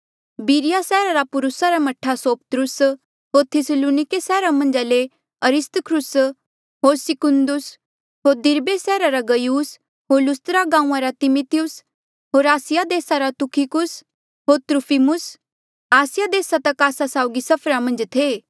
बिरिया सैहरा रा पुर्रुसा रा मह्ठा सोपत्रुस होर थिस्सलुनिके सैहरा मन्झ ले अरिस्तर्खुस होर सिकुन्दुस होर दिरबे सैहरा रा गयुस होर लुस्त्रा गांऊँआं रा तिमिथियुस होर आसिया देसा रा तुखिकुस होर त्रुफिमुस आसिया देस तक आस्सा साउगी सफर मन्झ थे